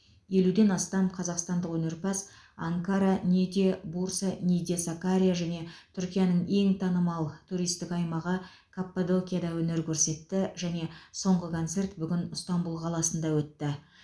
елуден астам қазақстандық өнерпаз анкара ниде бурса ниде сакария және түркияның ең танымал туристік аймағы каппадокияда өнер көрсетті және соңғы концерт бүгін ыстанбұл қаласында өтті